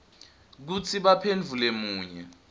kutsi baphendvule munye